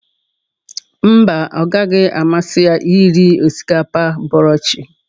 Mba, ọ gaghị amasị ya iri osikapa bọrọ chi